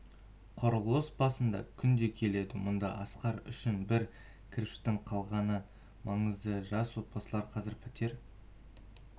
құрылыс басына күнде келеді мұнда асқар үшін бір кірпіштің қаланғаны маңызды жас отбасы қазір пәтер